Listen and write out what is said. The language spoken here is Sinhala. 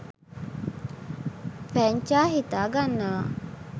පැංචා හිතා ගන්නවා